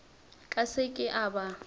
ka se ke a ba